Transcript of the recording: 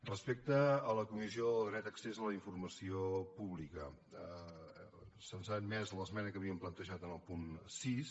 respecte a la comissió del dret a accés la informació pública se’ns ha admès l’esmena que havíem plantejat al punt sis